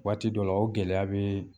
Waati dɔ la o gɛlɛya bɛ